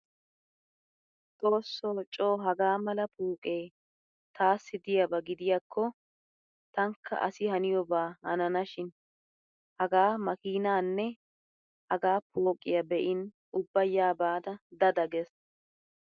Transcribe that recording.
Xoossoo coo hagaa mala pooqee taassi diyaba gidiyaakko tankka asi haniyooba hananashin. Hagaa makiinaanne hagaa pooqiya be'in ubba yaa baada dada gees.